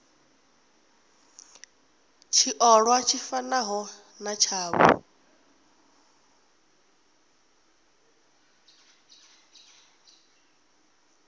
tshiolwa tshi fanaho na tshavho